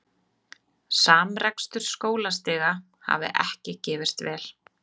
Samrekstur skólastiga hafi ekki gefist vel